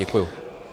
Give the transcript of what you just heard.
Děkuji.